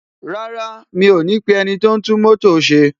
Rárá, mi ò ní pe ẹniti o n tún mótò ṣe.